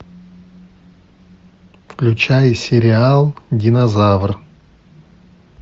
включай сериал динозавр